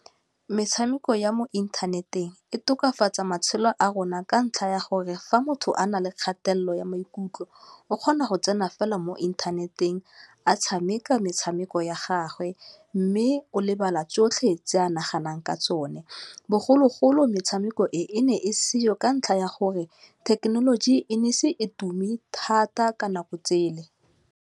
Metshameko ya mo inthaneteng e tokafatsa matshelo a rona ka ntlha ya gore fa motho a na le kgatelelo ya maikutlo o kgona go tsena fela mo inthaneteng a tshameka metshameko ya gagwe, mme o lebala tsotlhe tse a naganang ka tsone, bogologolo metshameko e ne e seo ka ntlha ya gore thekenoloji e ne e ise e tume thata ka nako tsele.